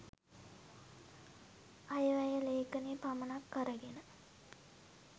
අයවැය ‍ලේඛනය පමණක් අරගෙන